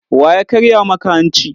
Wa ya karya maka hanci?